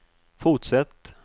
fortsätt